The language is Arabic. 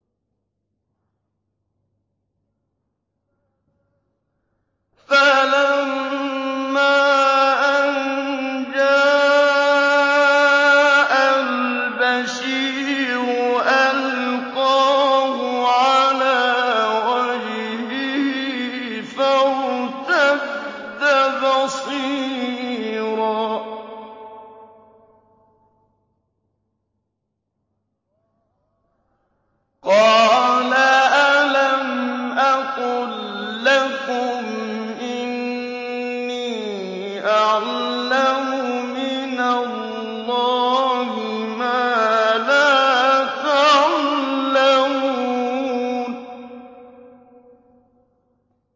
فَلَمَّا أَن جَاءَ الْبَشِيرُ أَلْقَاهُ عَلَىٰ وَجْهِهِ فَارْتَدَّ بَصِيرًا ۖ قَالَ أَلَمْ أَقُل لَّكُمْ إِنِّي أَعْلَمُ مِنَ اللَّهِ مَا لَا تَعْلَمُونَ